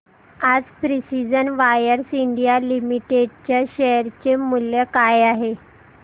आज precision wires India limited च्या share चे मूल्य काय आहे